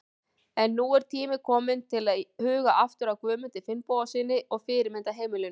En nú er tími til kominn til að huga aftur að Guðmundi Finnbogasyni og fyrirmyndarheimilinu.